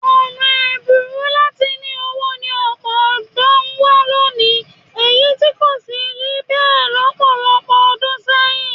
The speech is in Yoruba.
Ọ̀nà ẹ̀bùrú láti ní owó ni ọ̀pọ̀ ọ̀dọ́ ń wá lónìí èyí tí kò sì rí bẹ́ẹ̀ lọ́pọ̀lọpọ̀ ọdún sẹ́yìn